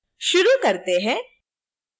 शुरू करते हैं